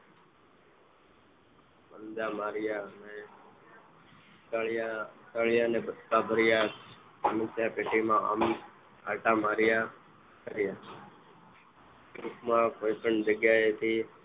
પંજા માર્યા અને સળિયા સળિયા ને બચકા ભર્યા સમસ્યા પેટીમાં આમથી તેમ આંટા માર્યા ટૂંકમાં કોઈ પણ જગ્યાએથી